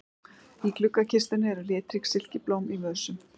Í gluggakistunni eru litrík silkiblóm í vösum.